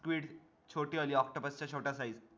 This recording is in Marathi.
squid छोटी वली octopus छोटा saize